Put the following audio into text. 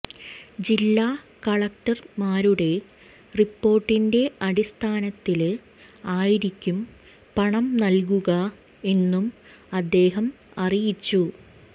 ജില്ലാ കളക്ടര്മാരുടെ റിപ്പോര്ട്ടിന്റെ അടിസ്ഥാനത്തില് ആയിരിക്കും പണം നല്കുക എന്നും അദ്ദേഹം അറിയിച്ചു